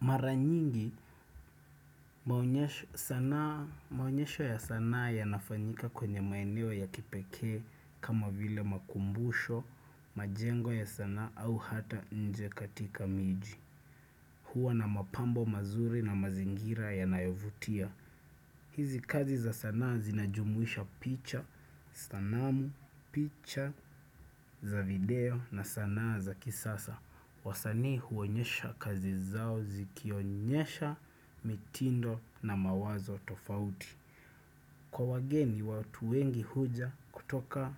Maranyingi sanaa maonyesho ya sanaa ya nafanyika kwenye maeneo ya kipekee kama vile makumbusho, majengo ya sana au hata nje katika miji. Hua na mapambo mazuri na mazingira ya nayovutia. Hizi kazi za sanaa zinajumuisha picha, sanamu, picha za video na sanaa za kisasa. Wasani huonyesha kazi zao zikionyesha mitindo na mawazo tofauti. Kwa wageni watu wengi huja kutoka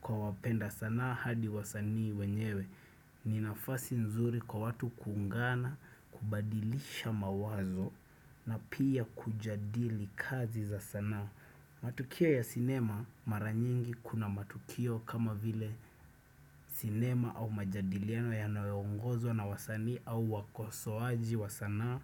kwa wapenda sanaa hadi wasanii wenyewe. Ninafasi nzuri kwa watu kuungana, kubadilisha mawazo na pia kujadili kazi za sanaa. Matukio ya sinema maranyingi kuna matukio kama vile sinema au majadiliano ya nayo ongozwa na wasanii au wakosoaji wasanaa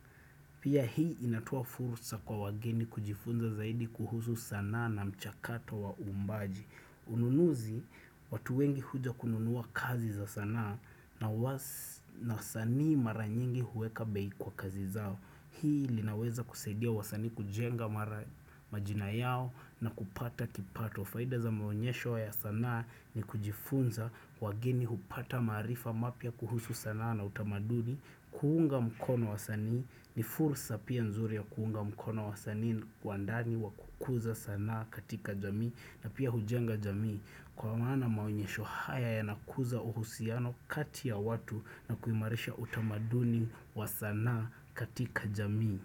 Pia hii inatoa furusa kwa wageni kujifunza zaidi kuhusu sanaa na mchakato wa uumbaji Ununuzi watu wengi huja kununuwa kazi za sanaa na was na wasani maranyingi huweka bei kwa kazi zao Hii linaweza kusaidia wasanii kujenga mara majina yao na kupata kipato Faida za maonyesho ya sanaa ni kujifunza wageni hupata maarifa mapya kuhusu sanaa na utamaduni Kuunga mkono wasanii ni fursa pia nzuri ya kuunga mkono wasanii Kwa ndani wa kukuza sana katika jamii na pia hujenga jamii Kwa maana maonyesho haya ya nakuza uhusiano kati ya watu na kuimarisha utamaduni wa sanaa katika jamii.